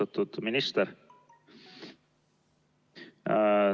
Austatud minister!